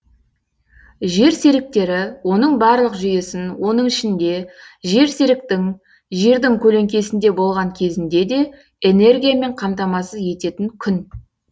жер серіктері оның барлық жүйесін оның ішінде жер серіктің жердің көленкесінде болған кезінде де энергиямен қамтамасыз ететін күн